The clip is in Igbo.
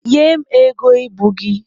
Nye m ego ibu gị!